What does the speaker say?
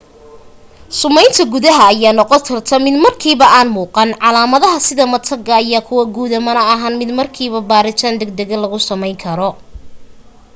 sumeynta gudaha ayaa noqon karta mid markiiba aan muuqan calaamadaha sida mataga ayaa kuwo guuda mana ahan mid markiiba baaritaan dag daga lagu sameyn karo